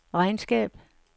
regnskab